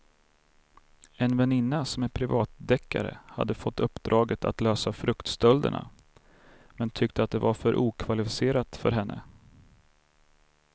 En väninna som är privatdeckare hade fått uppdraget att lösa fruktstölderna men tyckte att det var för okvalificerat för henne.